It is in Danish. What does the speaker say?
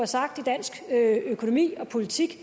sagt i dansk økonomi og politik